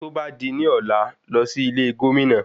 Tó bá di ní ọ̀lá, lọ sí ilé Gómìnà.